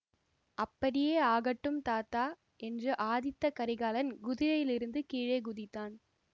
அப்படியே ஆகட்டும் தாத்தா என்று ஆதித்த கரிகாலன் குதிரையிலிருந்து கீழே குதித்தான்